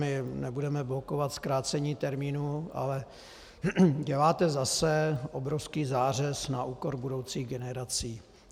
My nebudeme blokovat zkrácení termínu, ale děláte zase obrovský zářez na úkor budoucích generací.